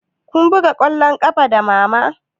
Kun buga ƙwallon ƙafa da mama?